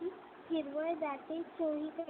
हिरवळ दाटे चोहीकडे